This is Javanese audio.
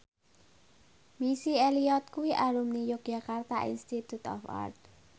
Missy Elliott kuwi alumni Yogyakarta Institute of Art